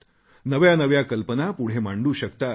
नव्या नव्या कल्पना पुढे मांडू शकतात